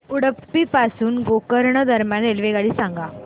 उडुपी पासून गोकर्ण दरम्यान रेल्वेगाडी सांगा